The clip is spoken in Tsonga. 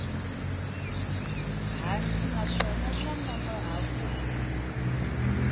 hansi naswona swa nonoha ku